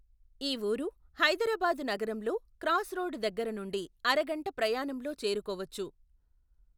ఈ వూరు హైదరాబాదు నగరంలో క్రాస్రోడ్ దగ్గరనుండి అరగంట ప్రయాణంలో చేరుకోవచ్చు.